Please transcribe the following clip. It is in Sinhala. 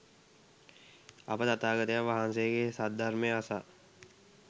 අප තථාගතයන් වහන්සේගේ සද්ධර්මය අසා